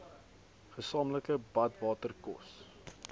gesamentlike badwater kos